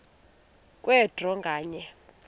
kwe draw nganye